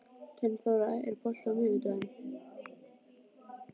Steinþóra, er bolti á miðvikudaginn?